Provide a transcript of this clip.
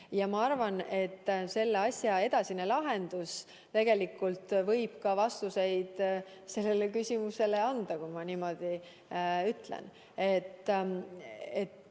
Ja ma arvan, et selle asja edasine lahendus võib tegelikult ka vastused sellele küsimusele anda, kui ma niimoodi ütlen.